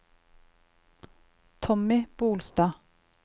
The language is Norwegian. Tommy Bolstad